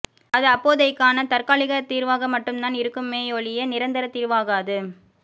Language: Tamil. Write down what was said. அது அப்போதைக்கான தற்காலிக தீர்வாக மட்டும் தான் இருக்குமேயொழிய நிரந்தர தீர்வாகாது